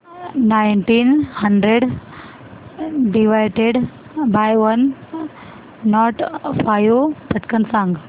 nineteen hundred divided by one nought five पटकन सांग